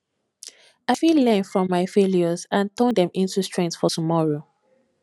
i fit learn from my failures and turn dem into strength for tomorrow